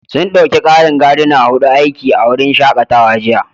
Sun ɗauki ƙarin Gardner huɗu aiki a wurin shakatawa jiya